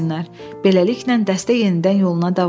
Beləliklə, dəstə yenidən yoluna davam etdi.